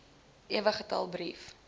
ewe getal brief